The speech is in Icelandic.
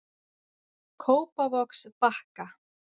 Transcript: Kópavogsbakka